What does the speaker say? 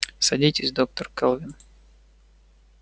садитесь доктор кэлвин